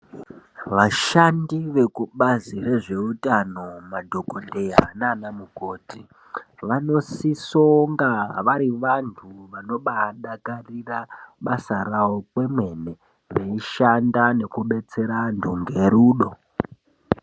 Vashandi veku bazi rezve utano madhokoteya nana mukoti vano sisa kunga vari vantu vanobai dakarira basa ravo kwemene vei shanda ngeku betsera antu ne rudo.